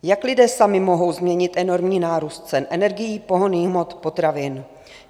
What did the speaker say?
Jak lidé sami mohou změnit enormní nárůst cen energií, pohonných hmot, potravin?